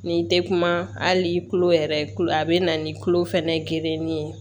N'i tɛ kuma hali tulo yɛrɛ kulo a bɛ na ni kulo fɛnɛ geren ye